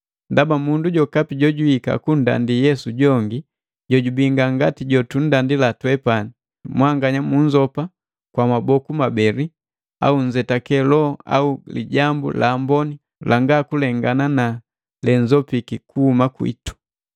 Ndaba mundu jokapi jojwiika kunndandi Yesu jojubii ngangati na jotunndila twepani, mwanganya munnzopa kwa maboku mabeli, au nzetake loho au Lijambu la Amboni langa kulengana na lenzopiki kuhuma kwitu!